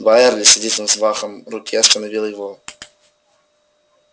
байерли сердитым взмахом руки остановил его